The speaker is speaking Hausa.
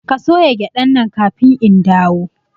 Ka soya gyaɗan nan kafin in dawo!